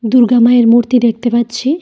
দুর্গা মায়ের মূর্তি দেখতে পাচ্ছি।